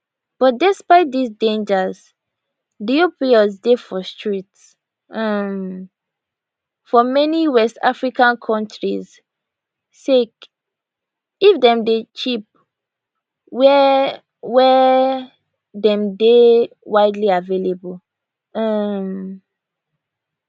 but despite dis dangers di opioids dey for streets um for many west african kontris sake if dem dey cheap wia wia dem dey widely available um